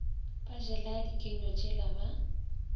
ba jela dikenywa tšela ba